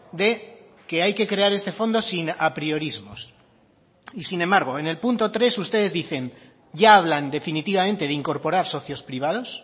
de que hay que crear este fondo sin apriorismos y sin embargo en el punto tres ustedes dicen ya hablan definitivamente de incorporar socios privados